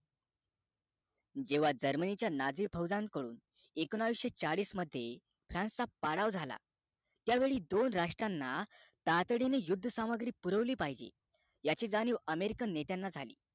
जेव्हा jermany च्या Nazi फौझे कडून एकोणविशे चाळीस मध्ये france चा पाराव झाला त्या वेळी दोन रात्रराष्ट्राना तातडीने यौध्द सामग्री पुरवली पाहिजे याची जाणीव american नेत्यांना झाली